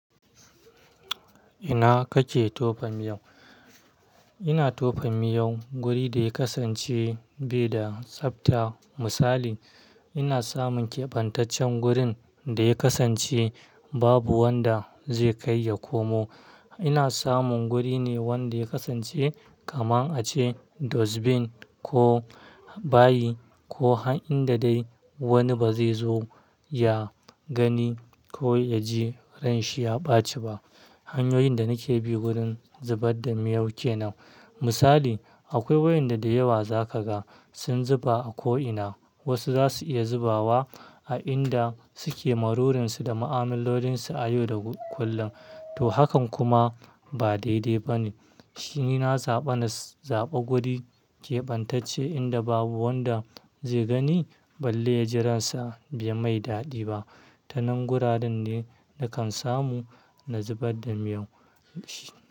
Ina kake tofa miyau? Ina tofa miyau guri da ya kasance bai da tsabta. Misali, ina samun kebantaccen gurin da ya kasance babu wanda zai kai ya komo. Ina samun guri ne wanda ya kasance kaman a ce dustbin ko bayi ko a inda dai wani ba zai zo ya gani ko ya ji ranshi ya ɓaci ba. Hanyoyin da nake bi wurin zubar da miyau ke nan. Misali, akwai waƴanda da da yawa za ka ga sun zuba a ko'ina. Wasu zasu iya zubawa a inda suke lalurinsu da ma'amalolinsu na yau da kullum. To, hakan kuma ba daidai ba ne. Shi ina zaɓa na zaɓa guri keɓantacce inda babu wanda zai gani balle ya ji ransa bai mai daɗi ba. Ta nan guraren ne na kan samu na zubar da miyau.